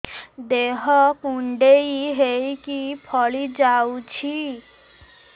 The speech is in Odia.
ଦେହ କୁଣ୍ଡେଇ ହେଇକି ଫଳି ଯାଉଛି